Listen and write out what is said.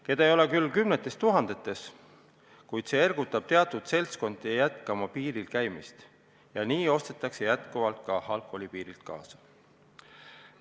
Neid ei ole küll kümnetes tuhandetes, kuid ikkagi käivad teatud seltskonnad endiselt piiri taga, kust ostetakse ka alkoholi kaasa.